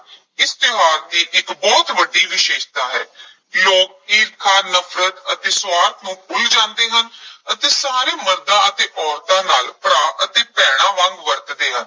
ਇਸ ਤਿਉਹਾਰ ਦੀ ਇੱਕ ਬਹੁਤ ਵੱਡੀ ਵਿਸ਼ੇਸ਼ਤਾ ਹੈ ਲੋਕ ਈਰਖਾ, ਨਫ਼ਰਤ ਅਤੇ ਸੁਆਰਥ ਨੂੰ ਭੁੱਲ ਜਾਂਦੇ ਹਨ ਅਤੇ ਸਾਰੇ ਮਰਦਾਂ ਅਤੇ ਔਰਤਾਂ ਨਾਲ ਭਰਾ ਅਤੇ ਭੈਣਾਂ ਵਾਂਗ ਵਰਤਦੇ ਹਨ।